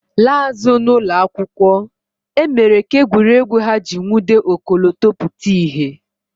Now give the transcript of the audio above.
Laa azụ n'ụlọ akwụkwọ, e mere ka egwuregwu ha ji nwude ọkọlọtọ pụta ìhè